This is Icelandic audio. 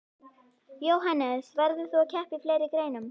Jóhannes: Verður þú að keppa í fleiri greinum?